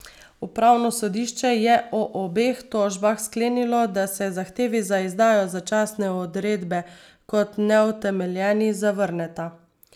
Upravno sodišče je o obeh tožbah sklenilo, da se zahtevi za izdajo začasne odredbe kot neutemeljeni zavrneta.